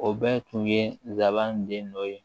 O bɛɛ tun ye gabanden dɔ ye